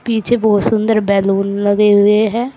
पीछे बहुत सुंदर बैलून लगे हुए हैं।